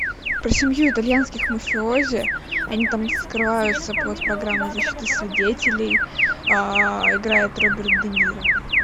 про семью итальянских мафиози они там скрываются под программой защиты свидетелей играет роберт де ниро